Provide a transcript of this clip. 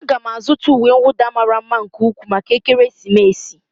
Aga m azụta uwe nwụda mara mma nke ukwuu maka ekeresimesi